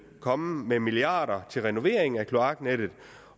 komme med milliarder til renovering af kloaknettet